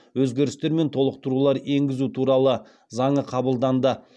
өзгерістер мен толықтырулар енгізу туралы заңы қабылданды